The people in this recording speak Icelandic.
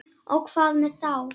Og hvað með þá?